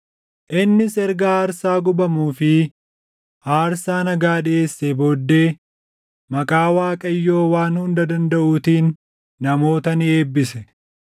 Innis erga aarsaa gubamuu fi aarsaa nagaa dhiʼeessee booddee maqaa Waaqayyoo Waan Hunda Dandaʼuutiin namoota ni eebbise.